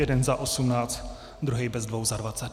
Jeden za osmnáct, druhej bez dvou za dvacet.